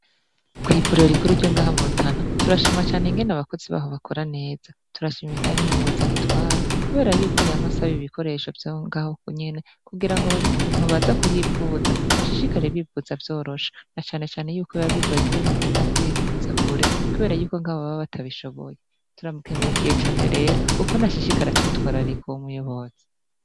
kw'ivuriro rikuru ryo ngaha mu Rutana, turashima cane ingene abakozi baho bakora neza, turashimiye kandi n'umuyobozi aritwara kubera yuko yama asabe ibikoresho vyaho ngaho nyene kugira ngo abantu baza kuhivuza bashishikare bivuza vyoroshe, na cane cane yuko biba bigoye ingene ugenda kwivuza kure kubera yuko ngaho baba batabishoboye, turamukengurukiye cane rero ukuntu ashishikara atwitwararika uwo muyobozi.